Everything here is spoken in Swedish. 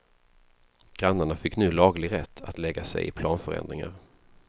Grannarna fick nu laglig rätt att lägga sig i planförändringar.